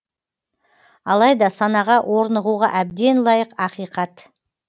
алайда санаға орнығуға әбден лайық ақиқат